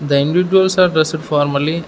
the individuals are dressed formally.